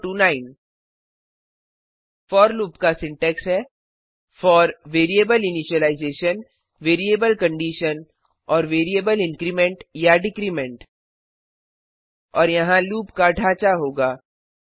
0 to 9 for loop का syntax है for variable initialisation variable कंडीशनऔर वेरिएबल इंक्रीमेंट या डिक्रीमेंट और यहाँ लूप का ढाँचा होगा